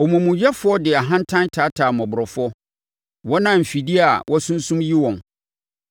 Ɔmumuyɛfoɔ de ahantan taataa mmɔborɔfoɔ, wɔn a mfidie a wɔasunsum yi wɔn.